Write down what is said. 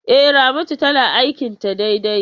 E, Ramatu tana aikin ta daidai.